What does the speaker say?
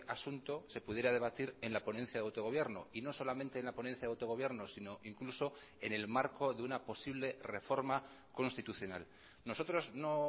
asunto se pudiera debatir en la ponencia de autogobierno y no solamente en la ponencia de autogobierno sino incluso en el marco de una posible reforma constitucional nosotros no